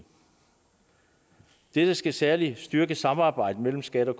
dette skal særlig styrke samarbejdet mellem skat og